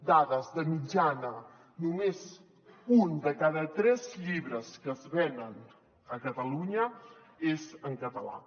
dades de mitjana només un de cada tres llibres que es venen a catalunya és en català